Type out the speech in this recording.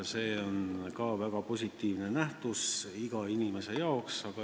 See on väga positiivne nähtus igale inimesele.